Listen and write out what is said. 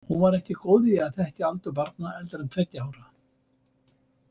Hún var ekki góð í að þekkja aldur barna eldri en tveggja ára.